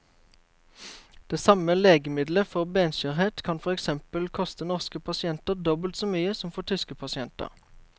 Det samme legemiddelet for benskjørhet kan for eksempel koste norske pasienter dobbelt så mye som for tyske pasienter.